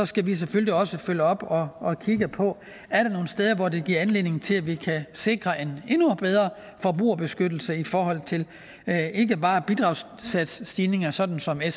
skal vi selvfølgelig også følge op og kigge på om er nogle steder hvor det giver anledning til at vi kan sikre en endnu bedre forbrugerbeskyttelse i forhold til ikke bare bidragssatsstigninger sådan sådan